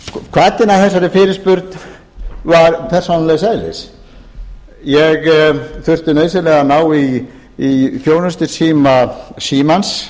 hvatinn að fyrirspurninni var persónulegs eðlis ég þurfti nauðsynlega að ná í þjónustusíma símans